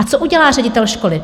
A co udělá ředitel školy?